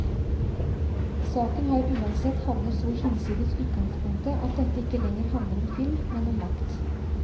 Saken har uansett havnet så hinsides utgangspunktet at dette ikke lenger handler om film, men om makt.